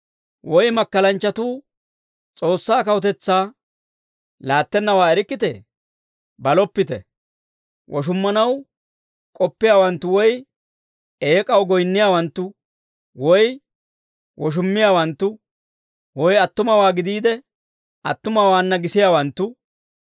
Woy makkalanchchatuu S'oossaa kawutetsaa laattennawaa erikkitee? Baloppite. Woshummanaw k'oppiyaawanttu woy eek'aw goyinniyaawanttu woy woshummiyaawanttu woy attumawaa gidiide, attumawaana gisiyaawanttu,